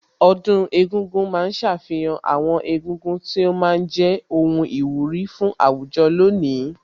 Ọdún egúngún ma ń ṣàfihàn àwọn egúngún tí ó ma ń jẹ́ ohun ìwúrí fún àwùjọ lónìí